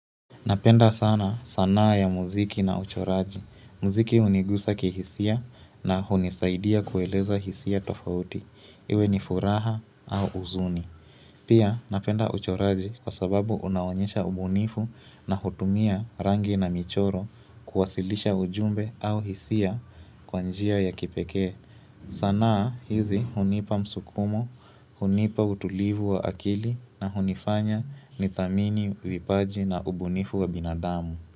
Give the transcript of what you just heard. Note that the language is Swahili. Napenda sana sanaa ya muziki na uchoraji. Mziki hunigusa kihisia na hunisaidia kueleza hisia tofauti. Iwe ni furaha au uzuni. Pia napenda uchoraji kwa sababu unaonyesha ubunifu na hutumia rangi na michoro kuwasilisha ujumbe au hisia kwa njia ya kipekee. Sanaa hizi hunipa msukumo, hunipa utulivu wa akili na hunifanya nidhamini vipaji na ubunifu wa binadamu.